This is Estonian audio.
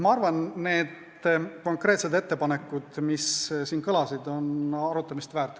Ma arvan, et need konkreetsed ettepanekud, mis siin kõlasid, on kõik arutamist väärt.